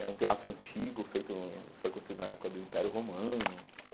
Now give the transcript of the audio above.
É um teatro antigo, feito foi construído na época do Império Romano.